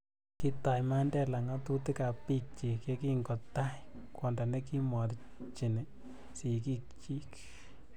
kitai Mandela ng'otutikab biikchin yekingo tai kwondo ne kimorchini sikikchin